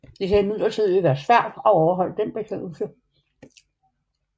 Det kan imidlertid være svært at overholde den betingelse